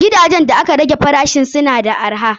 Gidajen da aka rage farashisu na da arha.